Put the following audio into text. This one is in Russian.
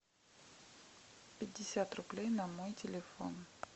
пятьдесят рублей на мой телефон